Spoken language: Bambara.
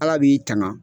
Ala b'i tanga